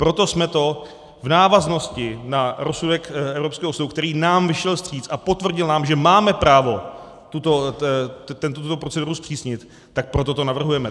Proto jsme to v návaznosti na rozsudek evropského soudu, který nám vyšel vstříc a potvrdil nám, že máme právo tuto proceduru zpřísnit, tak proto to navrhujeme.